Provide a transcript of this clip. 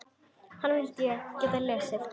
Hana vildi ég geta lesið.